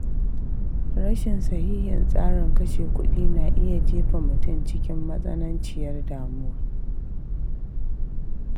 Rashin sahihin tsarin kashe kuɗi na iya jefa mutum cikin matsananciyar damuwa.